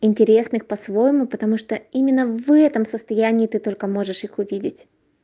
интересных по-своему потому что именно в этом состоянии ты только можешь их увидеть